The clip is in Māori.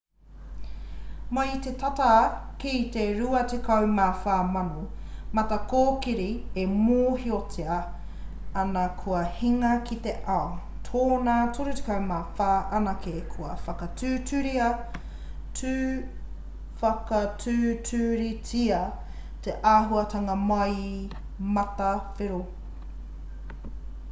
mai i te tata ki te 24,000 matakōkiri e mōhiotia ana kua hinga ki te ao tōna 34 anake kua whakatūturutia te ahunga mai i matawhero